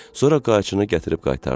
Sonra qayçını gətirib qaytardı.